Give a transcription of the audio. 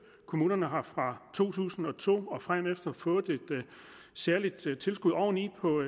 kommunerne har fra to tusind og to og fremefter fået et særligt tilskud oveni på